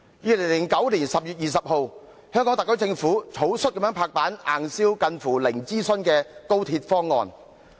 2009年10月20日，香港特區政府草率地"拍板"硬銷近乎零諮詢的高鐵方案。